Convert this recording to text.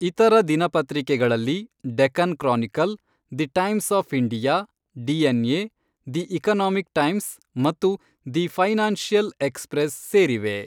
ಇತರ ದಿನಪತ್ರಿಕೆಗಳಲ್ಲಿ Deccan Chronicle, the Times of India, DNA, the Economic Times ಮತ್ತು ದಿ ಫೈನಾನ್ಶಿಯಲ್ ಎಕ್ಸ್ಪ್ರೆಸ್ ಸೇರಿವೆ.